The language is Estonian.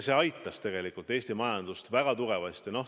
See aitas tegelikult Eesti majandust väga tugevasti.